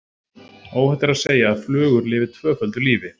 Óhætt er að segja að flugur lifi tvöföldu lífi.